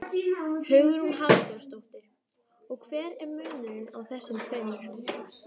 Hugrún Halldórsdóttir: Og hver er munurinn á þessum tveimur?